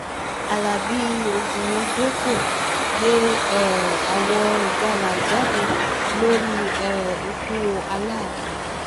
alábi ògùndẹ̀pọ̀ gbé um àwọ̀ ìjàlá jáde lórí um ikú alaafin